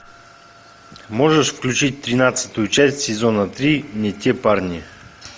можешь включить тринадцатую часть сезона три не те парни